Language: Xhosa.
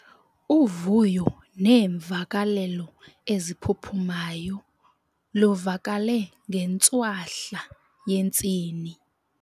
Uvuyo neemvakalelo eziphuphumayo luvakale ngentswahla yentsini.